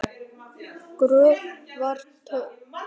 Gröfin var tóm!